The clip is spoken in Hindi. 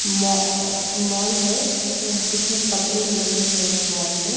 मो अ मॉल है यहाँ इसमें कपड़े मिलते हैं इस मॉल में--